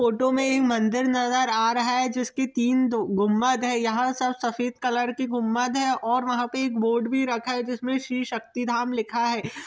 Photo में एक मंदिर नज़र आ रहा है जिसकी तीन दो गुम्बद है यहाँ सब सफ़ेद कलर की गुम्बद है और वहाँ पे एक बोर्ड भी रखा है जिसमें श्री शक्ति धाम लिखा है।